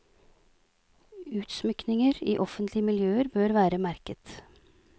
Utsmykninger i offentlige miljøer bør være merket.